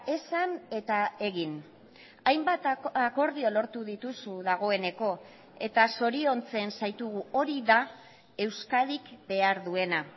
esan eta egin hainbat akordio lortu dituzu dagoeneko eta zoriontzen zaitugu hori da euskadik behar duena